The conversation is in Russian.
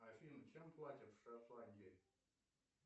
афина чем платят в шотландии